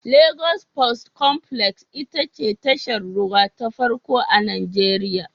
Lagos Port Complex ita ce tashar ruwa ta farko a Nijeriya.